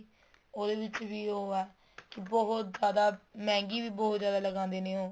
ਉਹਦੇ ਵਿੱਚ ਵੀ ਉਹ ਹੈ ਬਹੁਤ ਜਿਆਦਾ ਮਹਿੰਗੀ ਵੀ ਬਹੁਤ ਜਿਆਦਾ ਲਗਾਦੇ ਨੇ ਉਹ